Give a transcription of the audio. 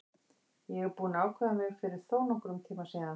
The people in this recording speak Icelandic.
Ég er búinn að ákveða mig fyrir þónokkrum tíma síðan.